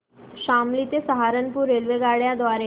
शामली ते सहारनपुर रेल्वेगाड्यां द्वारे